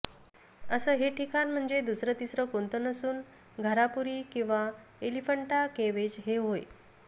असं हे ठिकाण म्हणजे दुसरं तिसरं कोणतं नसून घारापुरी किंवा एलिफंटा केव्हज हे होय